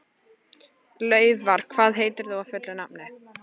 Laufar, hvað heitir þú fullu nafni?